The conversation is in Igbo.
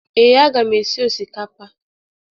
Ee, aga m esi osikapa.